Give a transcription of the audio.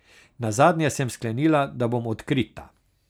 Nazadnje sem sklenila, da bom odkrita.